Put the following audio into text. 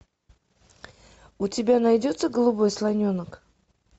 у тебя найдется голубой слоненок